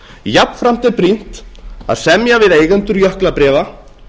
jafnframt er brýnt að semja við eigendur jöklabréfa